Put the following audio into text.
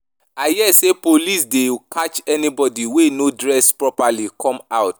I hear say police dey catch anybody wey no dress properly come out